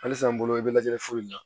Halisa n bolo i bɛ lajɛli foyi la